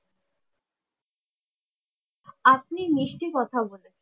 আপনি মিষ্টি কথা বলেন।